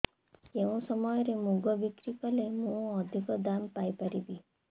କେଉଁ ସମୟରେ ମୁଗ ବିକ୍ରି କଲେ ମୁଁ ଅଧିକ ଦାମ୍ ପାଇ ପାରିବି